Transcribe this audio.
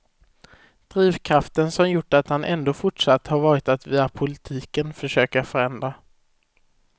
Drivkraften som gjort att han ändå fortsatt har varit att via politiken försöka förändra.